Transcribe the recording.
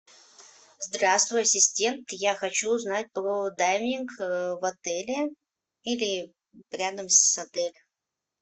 здравствуй ассистент я хочу узнать про дайвинг в отеле или рядом с отелем